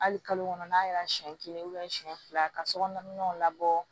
Hali kalo kɔnɔ n'a kɛra siɲɛ kelen siyɛn fila ka so kɔnɔnaw labɔ